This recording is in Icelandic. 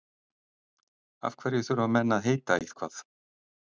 Af hverju þurfa menn að heita eitthvað?